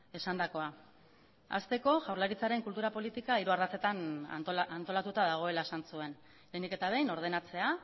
esandakoa hasteko jaurlaritzaren kultura politika hiru ardatzetan antolatuta dagoela esan zuen lehenik eta behin ordenatzea